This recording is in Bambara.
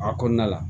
A kɔnɔna la